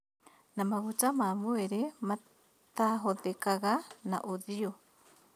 Na maguta ma mwĩrĩ matahũthĩkaga na ũthiũ